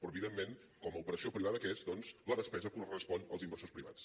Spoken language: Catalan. però evidentment com a operació privada que és doncs la despesa correspon als inversors privats